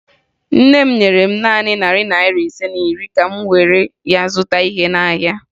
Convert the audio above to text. Nne m nyere m naanị narị naịra ise na iri ka m were ya zụta ihe n'ahịa.